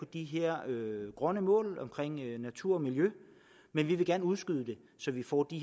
de her grønne mål omkring natur og miljø men vi vil gerne udskyde det så vi får det